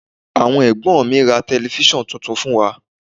Àwọn Ẹ̀gbọ́n mi ra Tẹlifísàn tuntun fún wa